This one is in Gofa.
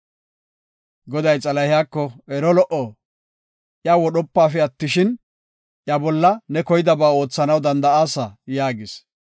Goday Xalahiyako, “Ero lo77o, iya wodhopafe attishin, iya bolla ne koydaba oothanaw danda7aasa” yaagis.